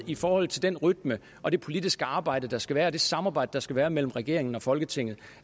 i forhold til den rytme og det politiske arbejde der skal være og det samarbejde der skal være mellem regeringen og folketinget